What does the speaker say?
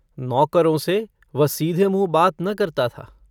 नौकरों से वह सीधे मुँह बात न करता था।